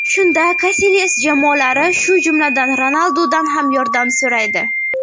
Shunda Kasilyas jamoadoshlari, shu jumladan, Ronaldudan ham yordam so‘raydi.